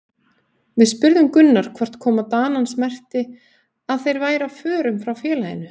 Við spurðum Gunnar hvort koma Danans merkti að þeir væru á förum frá félaginu?